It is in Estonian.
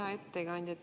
Hea ettekandja!